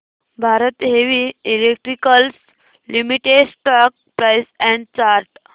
Bharat Heavy Electricals Limited stock price and chart